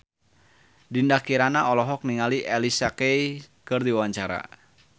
Dinda Kirana olohok ningali Alicia Keys keur diwawancara